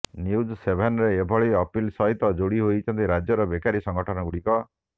news ସେଭେନରେ ଏଭଳି ଅପିଲ ସହିତ ଯୋଡ଼ି ହୋଇଛନ୍ତି ରାଜ୍ୟର ବେକାରୀ ସଂଗଠନଗୁଡ଼ିକ